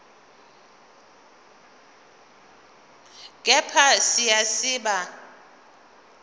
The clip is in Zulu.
kepha siya siba